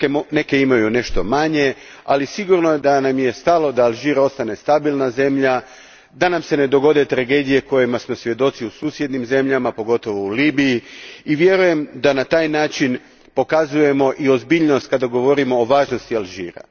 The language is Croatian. Neke imaju nešto manje, ali sigurno da nam je stalo da Alžir ostane stabilna zemlja, da nam se ne dogode tragedije kojih smo svjedoci u susjednim zemljama, pogotovo u Libiji, i vjerujem da na taj način pokazujemo i ozbiljnost kada govorimo o važnosti Alžira.